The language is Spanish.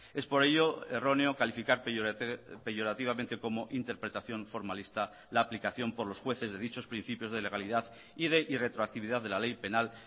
es por ello erróneo calificar peyorativamente como interpretación formalista la aplicación por los jueces de dichos principios de legalidad y de irretroactividad de la ley penal